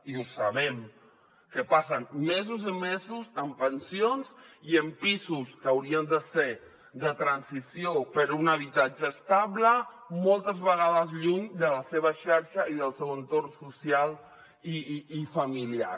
i ho sabem que passen mesos i mesos en pensions i en pisos que haurien de ser de transició per a un habitatge estable moltes vegades lluny de la seva xarxa i del seu entorn social i familiar